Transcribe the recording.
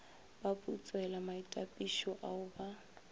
ba putselwa maitapišo ao ba